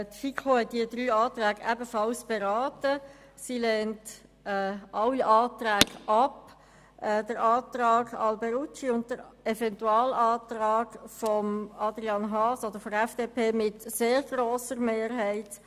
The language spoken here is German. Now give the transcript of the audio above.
Die Kommission hat die drei Anträge ebenfalls beraten und lehnt sie ab, den Antrag Alberucci und den Eventualantrag Haas mit sehr grosser Mehrheit.